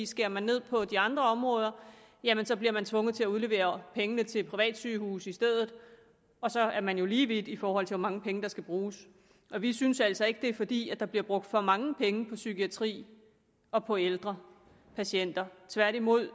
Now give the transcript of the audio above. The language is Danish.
skærer man ned på de andre områder jamen så bliver man tvunget til at udlevere pengene til privatsygehuse i stedet og så er man jo lige vidt i forhold til hvor mange penge der skal bruges og vi synes altså ikke det er fordi der bliver brugt for mange penge på psykiatri og på ældre patienter tværtimod